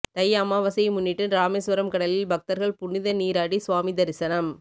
தை அமாவாசையை முன்னிட்டு ராமேஸ்வரம் கடலில் பக்தர்கள் புனித நீராடி சுவாமி தரிசனம்